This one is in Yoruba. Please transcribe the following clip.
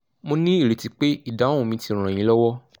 mo ní ìrètí pé ìdáhùn mi ti ràn yín lọ́wọ́